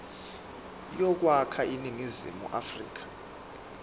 yokwakha iningizimu afrika